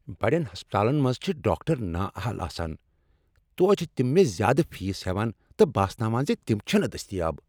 بَڈین ہسپتالن منٛز چِھ ڈاکٹر نااہل آسان، توتِہ چِھ تِم مےٚ زیإ فیس ہیوان تہٕ باسناوان زِ تِم چِھنہٕ دٕستیاب ۔